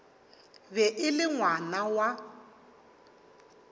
be e le ngwana wa